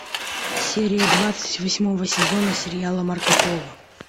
серия двадцать восьмого сезона сериала марко поло